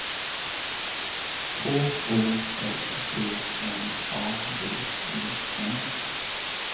K O S T N A D E N